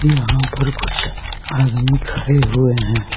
यहां पर कुछ आदमी खरे हुए हैं।